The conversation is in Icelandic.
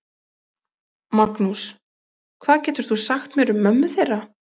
Magnús: Hvað getur þú sagt mér um mömmu þeirra?